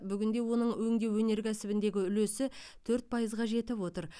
бүгінде оның өндеу өнеркәсібіндегі үлесі төрт пайызға жетіп отыр